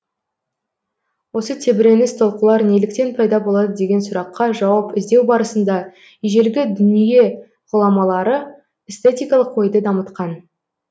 осы тебіреніс толқулар неліктен пайда болады деген сұраққа жауап іздеу барысында ежелгі дүние ғұламалары эстетикалық ойды дамытқан